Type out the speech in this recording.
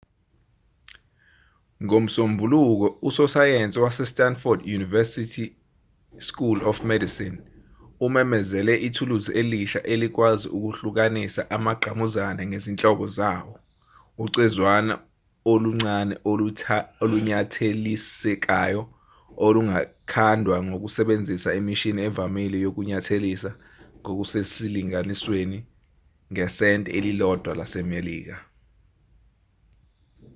ngomsombuluko usosayensi wase-stanford university school of medicine umemezele ithuluzi elisha elikwazi ukuhlukanisa amagqamuzane ngezinhlobo zawo ucezwana oluncane olunyathelisekayo olungakhandwa ngokusebenzisa imishini evamile yokunyathelisa ngokusesilinganisweni ngesenti elilodwa lasemelika